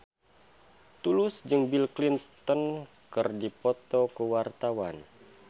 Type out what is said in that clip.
Tulus jeung Bill Clinton keur dipoto ku wartawan